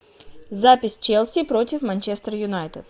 запись челси против манчестер юнайтед